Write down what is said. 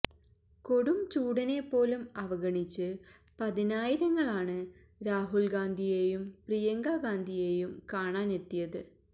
കൊടും ചൂടിനെ പോലും അവഗണിച്ച് പതിനായിരങ്ങളാണ് രാഹുൽ ഗാന്ധിയേയും പ്രിയങ്കാ ഗാന്ധിയേയും കാണാനെത്തിയത്